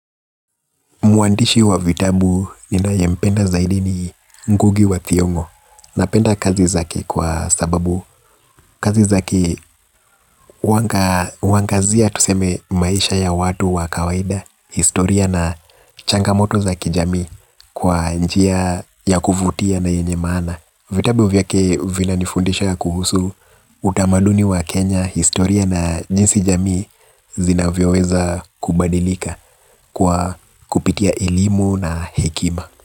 Muandishi wa vitabu ninayempenda zaidi ni ngugi wa thiongo na penda kazi zake kwa sababu kazi zake huangazia tuseme maisha ya watu wa kawaida, historia na changamoto za kijami kwa njia ya kuvutia na yenye maana. Vitabu vyake vinanifundisha kuhusu utamaduni wa Kenya historia na jinsi jamii zinavyoweza kubadilika kwa kupitia elimu na hekima.